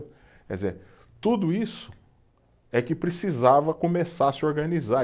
Quer dizer, tudo isso é que precisava começar a se organizar.